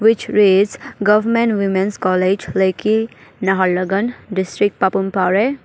Which reads government women's college lekhi naharlagun district papum pare.